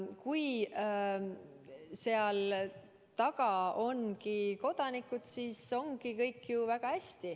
Kui seal taga ongi kodanikud, siis on kõik ju väga hästi.